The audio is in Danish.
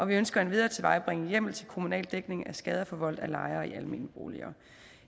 vi ønsker endvidere at tilvejebringe hjemmel til kommunal dækning af skader forvoldt af lejere i almene boliger